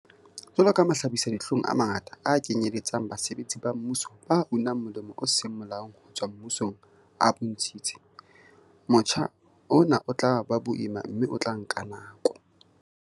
Jwalo ka mahlabisa-dihlong a mangata a kenyeletsang basebetsi ba mmuso ba unang molemo o seng molaong ho tswa mmusong a bontshitse, motjha ona o tla ba boima mme o tla nka nako.